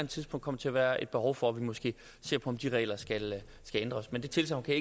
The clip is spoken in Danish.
tidspunkt til at være et behov for at vi måske ser på om de regler skal ændres men det tilsagn kan